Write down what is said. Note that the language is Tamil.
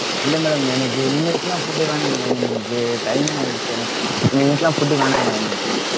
இல்ல madam எனக்கு இனிமேட்லாம் food வேணாம் madam எனக்கு time ஆகிடுச்சு எனக்கு இனிமேட்லாம் food வேணாம் madam எனக்கு.